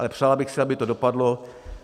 Ale přál bych si, aby to dopadlo.